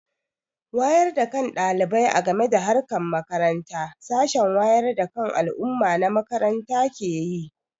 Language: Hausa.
Wayar da kan ɗalibai a game da harkar makaranta sashen wayar da kan al'umma na makaranta ke yi.